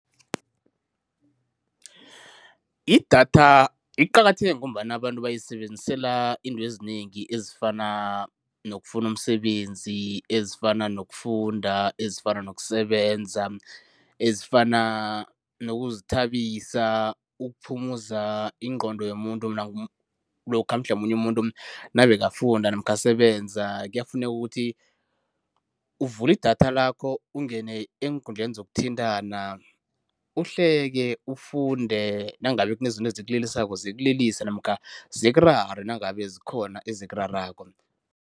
Idatha liqakatheke ngombana abantu bayisebenzisela into ezinengi ezifana nokufuna umsebenzi, ezifana nokufunda, ezifana nokusebenza, ezifana nokuzithabisa, ukuphumuza ingqondo yomuntu lokha mhlamunye umuntu nabekafunda namkha asebenza. Kuyafuneka ukuthi uvule idatha lakho ungene eenkundleni zokuthintana, uhleke, ufunde nangabe kunezinto ezikulilisako zikulilise namkha zikurare nangabe zikhona ezikurarako.